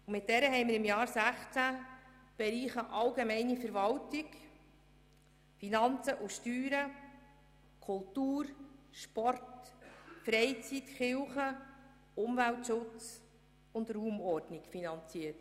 Mit dieser haben wir im Jahr 2016 die Bereiche allgemeine Verwaltung, Finanzen und Steuern, Kultur, Sport, Freizeit, Kirche, Umweltschutz und Raumordnung finanziert.